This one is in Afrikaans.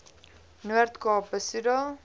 noord kaap besoedel